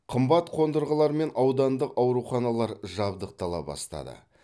қымбат қондырғылармен аудандық ауруханалар жабдықтала бастады